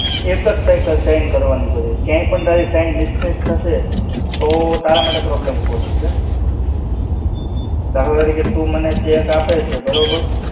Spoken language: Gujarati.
એક જ સરખી sign કરવાની બધી. ક્યાંય પણ તારી sign mismatch થશે, તો તારા માટે problem ઉભો થશે. દાખલા તરીકે તું મને cheque આપે છે બરોબર.